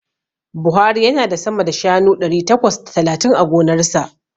Buhari yana da sama da shanu ɗari takwas da talatin a gonarsa.